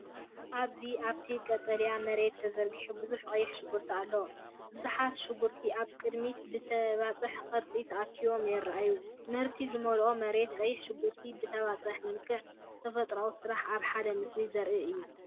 ኣብዚ ኣብቲ ቀጠልያ መሬት ተዘርጊሑ ብዙሕ ቀይሕ ሽጉርቲ ኣሎ። ብዙሓት ሽጉርቲ ኣብ ቅድሚት ብተበጻሒ ቅርጺ ተኣኪቦም የራኣዩ፣ ምህርቲ ዝመልአት መሬት! ቀይሕ ሽጉርቲ ብተበፃሒ መልክዕ፣ ተፈጥሮን ስራሕን ኣብ ሓደ ምስሊ ዘርኢ እዩ።